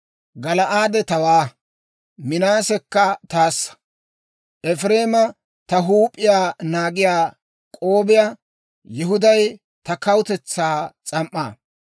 Gala'aade tawaa; Minaasekka taassa; Efireemi ta huup'iyaa naagiyaa k'oobiyaa; Yihuday ta kawutetsaa s'am"aa.